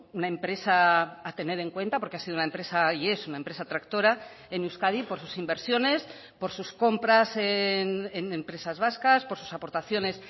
una empresa a tener en cuenta porque ha sido una empresa y es una empresa tractora en euskadi por sus inversiones por sus compras en empresas vascas por sus aportaciones